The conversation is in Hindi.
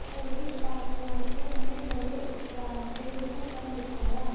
उमेश पासवान ने हमें बड़े उत्साह से यह सब दिखाया